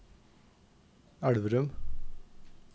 Elverum